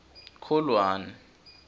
kholwane